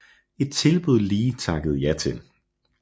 Et tilbud Lee takkede ja til